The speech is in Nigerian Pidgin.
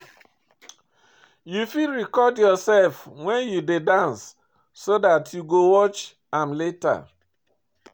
You fit record yourself when you dey dance so dat you go watch am later